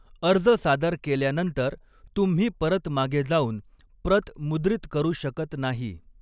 अर्ज सादर केल्यानंतर, तुम्ही परत मागे जाऊन प्रत मुद्रित करू शकत नाही.